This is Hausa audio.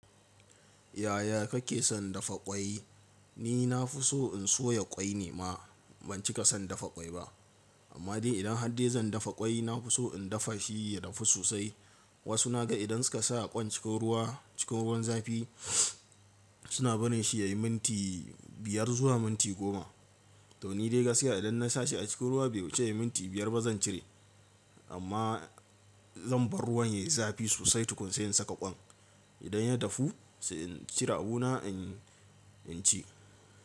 Yaya kake son dafa ƙwai? Ni na fi so in soya ƙwai ne ma, ban cika son dafa ƙwai ba. Amma dai idan har dai zan dafa ƙwai, na fi so in dafa shi ya dafu sosai. Wasu na ga idan suka sa ƙwan cikin ruwa, cikin ruwan zafi suna barin shi ya yi minti biyar zuwa minti goma. To ni dai gaskiya idan na sa shi a cikin ruwa bai wuce ya yi minti biyar ba zan cire. Amma zan bar ruwan yayi zafi sosai tukun sai in saka ƙwan. Idan ya dafu sai in cire abu na, in ci.